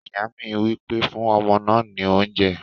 Ìyá mi wí pé "fún ọmọ náà ní oúnjẹ!"